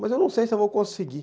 Mas eu não sei se eu vou conseguir.